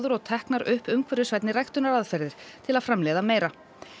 og teknar upp umhverfisvænni ræktunaraðferðir til að framleiða meira